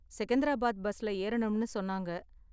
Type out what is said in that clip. செகந்திராபாத் பஸ்ல ஏறணும்னு சொன்னாங்க.